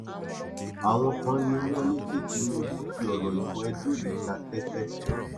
àwọn kan ni wọn ní kí tinúbù fi ọrọ ìbò edo yìí ta tẹtẹ